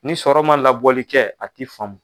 Ni sɔrɔ man labɔli kɛ a ti faamu.